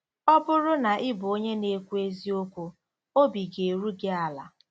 Ọ bụrụ na ị bụ onye na-ekwu eziokwu, obi ga-eru gị ala